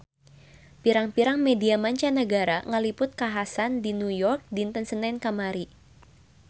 Pirang-pirang media mancanagara ngaliput kakhasan di New York dinten Senen kamari